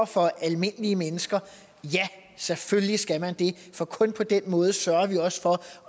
for almindelige mennesker ja selvfølgelig skal man det for kun på den måde sørger vi også for